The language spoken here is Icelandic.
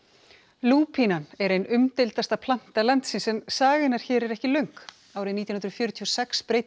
lúpínan er ein umdeildasta planta landsins en saga hennar hér er ekki löng árið nítján hundruð fjörutíu og sex breiddi